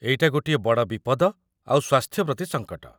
ଏଇଟା ଗୋଟିଏ ବଡ଼ ବିପଦ ଆଉ ସ୍ୱାସ୍ଥ୍ୟ ପ୍ରତି ସଙ୍କଟ ।